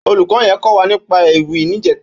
Ólúkò yèn kò wà nípà Éwì nijètá